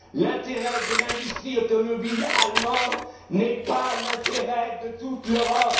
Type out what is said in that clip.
national. L'intérêt de l'industrie automobile allemande n'est pas l'intérêt de toute